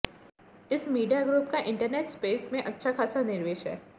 इस media group का internet space में अच्छा खासा निवेश है